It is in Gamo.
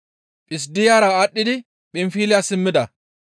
Phissidiyara aadhdhidi Phinfiliya simmida.